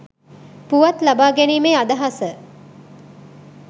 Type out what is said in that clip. පුවත් ලබා ගැනීමේ අදහස